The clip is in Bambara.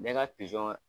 Ne ka pizɔn